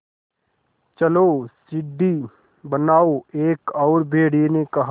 चलो सीढ़ी बनाओ एक और भेड़िए ने कहा